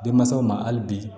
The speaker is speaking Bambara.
Denmansaw ma hali bi